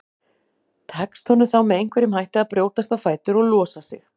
Tekst honum þá með einhverjum hætti að brjótast á fætur og losa sig.